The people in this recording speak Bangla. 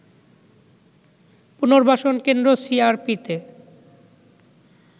পুনর্বাসন কেন্দ্র সিআরপিতে